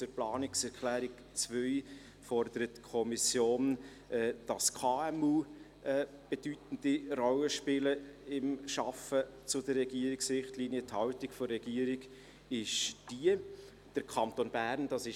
Zur Planungserklärung 2: Die Kommission fordert, dass KMU in der Arbeit zu den Richtlinien eine bedeutende Rolle spielen.